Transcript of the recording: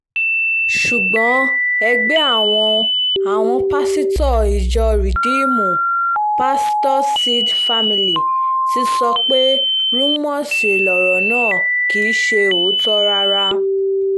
ṣùgbọ́n ẹgbẹ́ àwọn àwọn pásítọ̀ ìjọ ridiimú pastorsseeds family ti sọ pé rúmọọ̀sì lọ̀rọ̀ náà kì í ṣe òótọ́ rárá